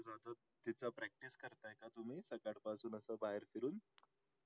असं बाहेर फिरून